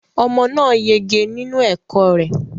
Omo náà yege nínú ẹ̀kọ́ rẹ